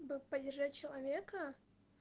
бы поддержать человека